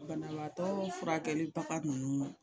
Banabaatɔ furakɛlibaga ninnu